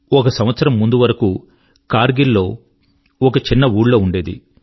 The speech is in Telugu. ఒక సంవత్సరం ముందరి వరకు కార్గిల్ లో ఒక చిన్న ఊళ్ళో ఉండేది